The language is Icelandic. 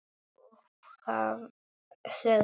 Upphaf sögu hans.